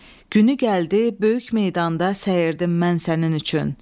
Günü gəldi, böyük meydanda səyirdim mən sənin üçün.